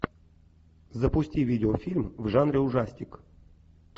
запусти видеофильм в жанре ужастик